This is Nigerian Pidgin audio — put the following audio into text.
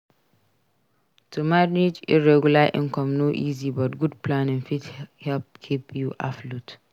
To manage irregular income no easy but good planning fit help keep you afloat.